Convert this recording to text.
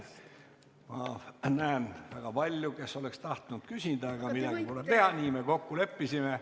Ma näen väga palju neid, kes oleks tahtnud küsida, aga midagi pole teha, nii me kokku leppisime.